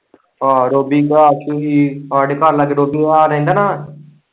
ਆਹੋ ਰੋਬੀ ਕਾ ਆਸ਼ਿਕ ਸੀ ਉਹ ਹਾਂਡੇ ਘਰ ਲਾਂਗੇ ਦੋਧੀਆ ਆਲ਼ਾ ਰਹਿੰਦਾ ਨਾ।